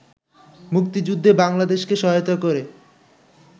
মুক্তিযুদ্ধে বাংলাদেশকে সহায়তা করে